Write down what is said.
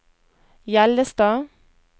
Hjellestad